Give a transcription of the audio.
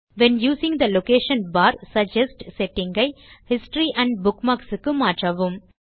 when using the location bar suggest setting ஐ history and bookmarks க்கு மாற்றவும்